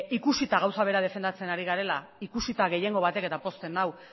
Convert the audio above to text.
ikusita gauza bera defendatzen ari garela ikusita gehiengo batek eta pozten nau